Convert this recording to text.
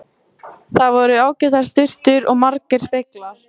Þar voru ágætar sturtur og margir speglar!